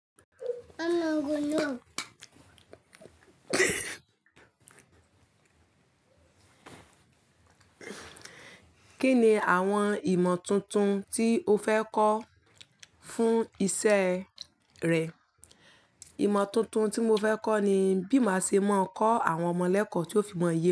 Kí ni àwọn ìmọ̀ tuntun tí o fẹ́ kọ́ fún isẹ́ rẹ? Ìmọ̀ tuntun tí mo fẹ́ kọ́ ni bí màá se máa kọ́ àwọn ọmọ lẹ́kọ̀ọ́ tí ó fi mọ ye.